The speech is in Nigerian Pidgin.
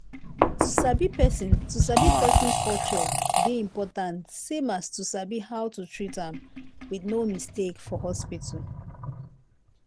to sabi person to sabi person culture dey important same as to sabi how to treat am with no mistake for hospital.